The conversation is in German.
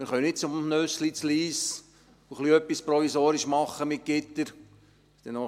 Wir können nicht zum Nüssli in Lyss gehen und provisorisch etwas mit Gittern machen.